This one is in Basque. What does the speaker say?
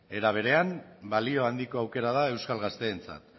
ere berean balio handiko aukera da euskal gazteentzat